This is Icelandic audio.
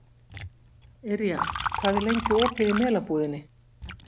Yrja, hvað er lengi opið í Melabúðinni?